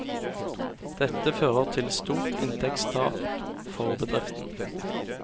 Dette fører til stort inntektstap for bedriften.